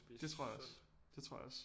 Det tror jeg også det tror jeg også